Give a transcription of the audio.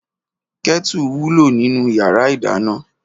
Kètú wúló ninú iyàrá idàná